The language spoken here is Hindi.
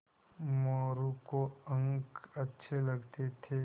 मोरू को अंक अच्छे लगते थे